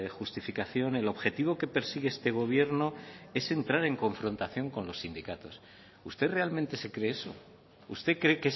justificación el objetivo que persigue este gobierno es entrar en confrontación con los sindicatos usted realmente se cree eso usted cree